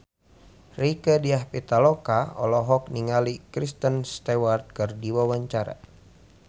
Rieke Diah Pitaloka olohok ningali Kristen Stewart keur diwawancara